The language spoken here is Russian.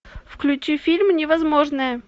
включи фильм невозможное